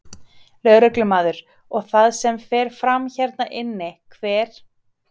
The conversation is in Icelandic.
Lögreglumaður: Og það sem fer fram hérna inni, hver?